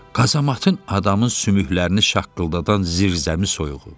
Qazamatın adamın sümüklərini şaqqıldadan zirzəmi soyuğu.